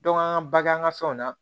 an ka bag'an ka fɛnw na